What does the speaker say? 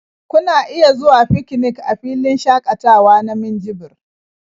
Kuna iya zuwa fikinik a filin shaƙatawa na Minjibir.